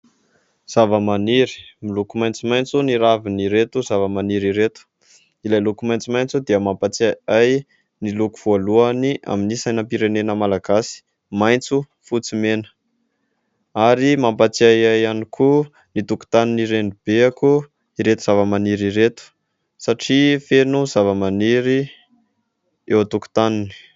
Zavamaniry, miloko maitsomaitso ny ravin'ireto zavamaniry ireto. Ilay loko maitsomaitso dia mampatsiahy ahy ny loko voalohany amin'ny sainam-pirenena Malagasy : maitso, fotsy, mena ary mampatsiahy ahy ihany koa ny tokotanin' i Renibeko ireto zavamaniry ireto satria feno zavamaniry eo an-tokotaniny.